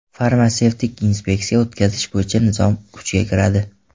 Farmatsevtik inspeksiya o‘tkazish bo‘yicha nizom kuchga kiradi.